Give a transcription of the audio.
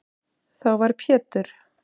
Þá var Pétur